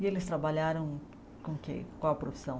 E eles trabalharam com que qual profissão?